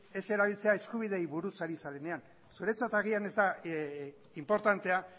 ez erabiltzea eskubideei buruz ari zarenean zuretzat agian ez da inportantea